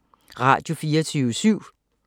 Radio24syv